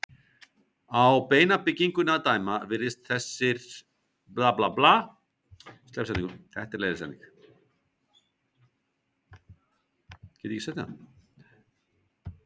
Á beinabyggingunni að dæma virðast þessir stórvöxnu hvalir hafa fullkomlega aðlagast lífi í vatn.